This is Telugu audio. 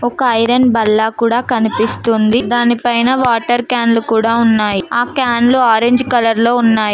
ఒక ఐరన్ బల్ల కూడా కనిపిస్తుంది దాని పైన వాటర్ క్యాన్లు కూడా ఉన్నాయ్ ఆ క్యాన్లు ఆరెంజ్ కలర్ లో ఉన్నాయి.